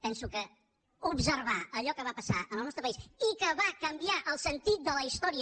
penso que observar allò que va passar en el nostre país i que va canviar el sentit de la història